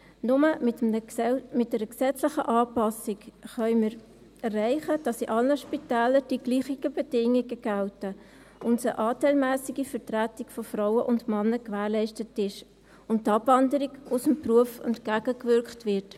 Nur mit einer gesetzlichen Anpassung können wir erreichen, dass in allen Spitälern dieselben Bedingungen gelten, eine anteilmässige Vertretung von Frauen und Männern gewährleistet ist und der Abwanderung aus dem Beruf entgegengewirkt wird.